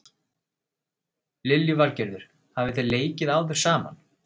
Lillý Valgerður: Hafi þið leikið áður saman?